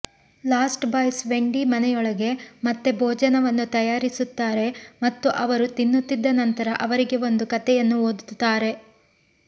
last boys Wendy ಮನೆಯೊಳಗೆ ಮತ್ತೆ ಭೋಜನವನ್ನು ತಯಾರಿಸುತ್ತಾರೆ ಮತ್ತು ಅವರು ತಿನ್ನುತ್ತಿದ್ದ ನಂತರ ಅವರಿಗೆ ಒಂದು ಕಥೆಯನ್ನು ಓದುತ್ತಾರೆ